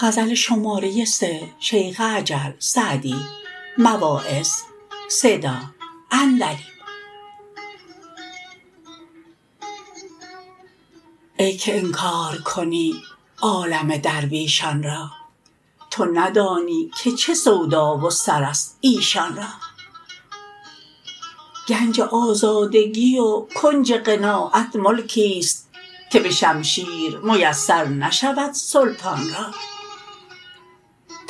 ای که انکار کنی عالم درویشان را تو ندانی که چه سودا و سر است ایشان را گنج آزادگی و کنج قناعت ملکیست که به شمشیر میسر نشود سلطان را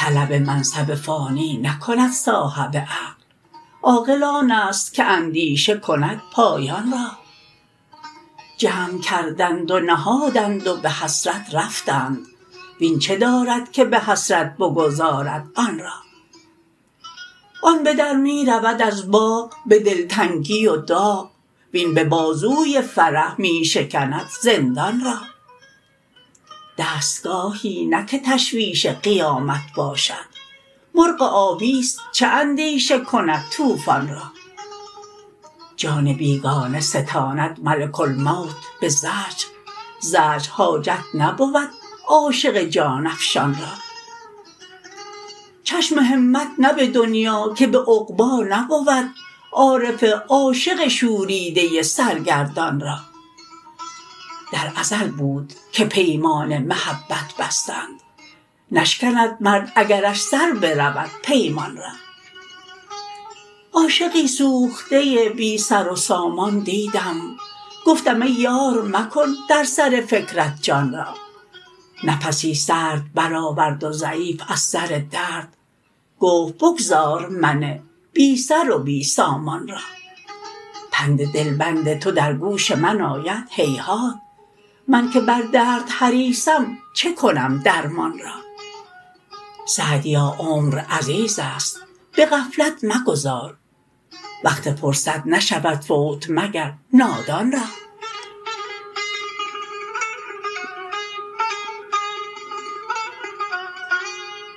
طلب منصب فانی نکند صاحب عقل عاقل آن است که اندیشه کند پایان را جمع کردند و نهادند و به حسرت رفتند وین چه دارد که به حسرت بگذارد آن را آن به در می رود از باغ به دلتنگی و داغ وین به بازوی فرح می شکند زندان را دستگاهی نه که تشویش قیامت باشد مرغ آبیست چه اندیشه کند طوفان را جان بیگانه ستاند ملک الموت به زجر زجر حاجت نبود عاشق جان افشان را چشم همت نه به دنیا که به عقبی نبود عارف عاشق شوریده سرگردان را در ازل بود که پیمان محبت بستند نشکند مرد اگرش سر برود پیمان را عاشقی سوخته بی سر و سامان دیدم گفتم ای یار مکن در سر فکرت جان را نفسی سرد برآورد و ضعیف از سر درد گفت بگذار من بی سر و بی سامان را پند دلبند تو در گوش من آید هیهات من که بر درد حریصم چه کنم درمان را سعدیا عمر عزیز است به غفلت مگذار وقت فرصت نشود فوت مگر نادان را